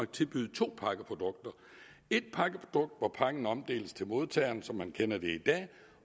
tilbyde to pakkeprodukter et pakkeprodukt hvor pakken omdeles til modtageren sådan som man kender det i dag